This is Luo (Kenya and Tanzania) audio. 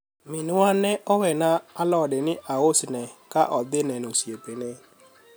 minwa ne owena alode ni ausne ka odhi neno osiepne